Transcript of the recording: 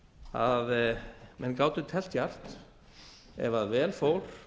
að menn gátu teflt djarft ef vel fór